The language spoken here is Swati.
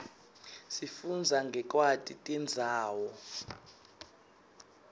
sifundza ngekwati tindzawo